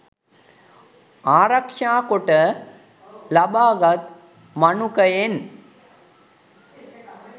ආරක්ෂා කොට ලබාගත් මනුකයෙන්